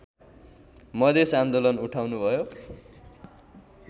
मधेस आन्दोलन उठाउनुभयो